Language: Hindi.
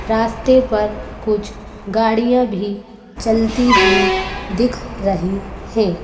रास्ते पर कुछ गाड़ियाँ भी चलती हुई दिख रही हैं।